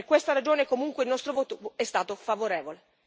Per questa ragione, comunque, il nostro voto è stato favorevole.